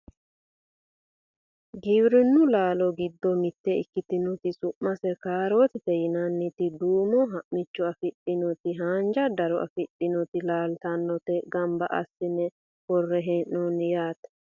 giwirinnu laalo giddo mitte ikkitinoti su'mase kaarootete yinanniti duumo ha'micho afidhinoti haanja daro afidhinoti laaltinota ganba assine worre hee'noonni yaate